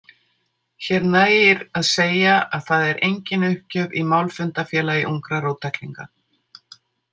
Hér nægir að segja að það er engin uppgjöf í Málfundafélagi úngra róttæklínga.